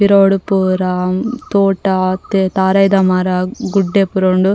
ಪಿರವುಡು ಪೂರ ತೋಟ ತಾರಾಯ್ದ ಮರ ಗುಡ್ಡೆ ಪೂರ ಉಂಡು.